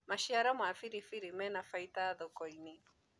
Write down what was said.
maciaro ma biribiri mena baida thoko-inĩ